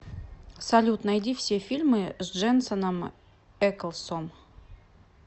салют найди все фильмы с дженсоном эклсом